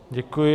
Děkuji.